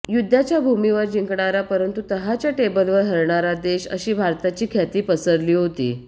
युद्धाच्या भूमीवर जिंकणारा परंतु तहाच्या टेबलवर हरणारा देश अशी भारताची ख्याती पसरली होती